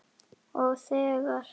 Og þegar